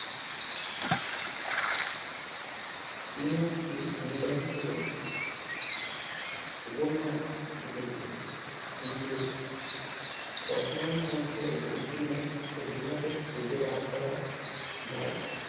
তিনি একটি ইংরেজিতে উপন্যাস লিখেছিলেন কিন্তু রচনার মধ্যে বঙ্কিমের প্রতিভাকে খুঁজে বার করা যায় না।